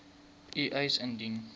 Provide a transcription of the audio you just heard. u eis indien